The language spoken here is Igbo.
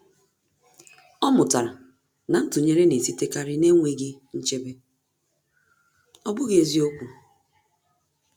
Ọ́ mụ́tàrà na ntụnyere nà-èsítékárí n’énwéghị́ nchebe, ọ́ bụ́ghị́ eziokwu.